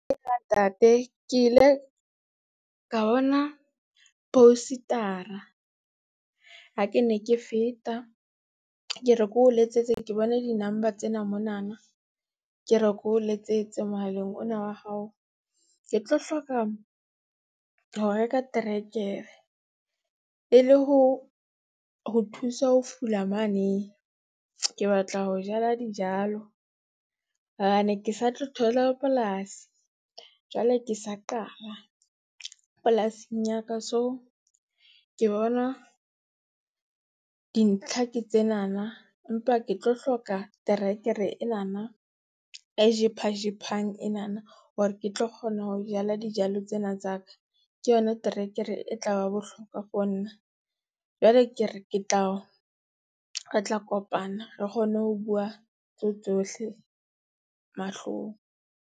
Eya ntate, ke ile ka bona poster-ra ha ke ne ke feta. Ke re ke o letsetse, ke bone di-number tsena monana ke reke o letsetse mohaleng ona wa hao, ke tlo hloka ho reka terekere, e le ho ho thusa ho fula mane. Ke batla ho jala dijalo, ke sa tlo thola polasi. Jwale ke sa qala polasing ya ka, so ke bona dintlha ke tsenana empa ke tlo hloka terekere enana e jephajephang enana hore ke tlo kgona ho jala dijalo tsena tsa ka. Ke yona trekere e tla ba bohlokwa for nna. Jwale ke re ke tla o, re tla kopana re kgone ho bua tseo tsohle mahlong.